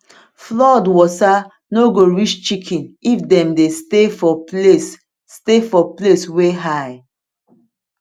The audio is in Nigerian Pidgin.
flood water no go reach chicken if dem dey stay for place stay for place where high